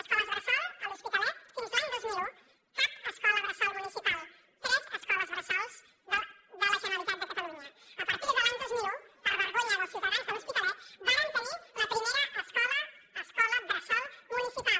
escoles bressol a l’hospitalet fins a l’any dos mil un cap escola bressol municipal tres escoles bressol de la generalitat de catalunya a partir de l’any dos mil un per vergonya dels ciutadans de l’hospitalet varen tenir la primera escola bressol municipal